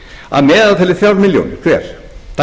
að meðaltali þrjár milljónir hver